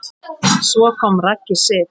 Svo kom Raggi Sig.